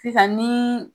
Sisan ni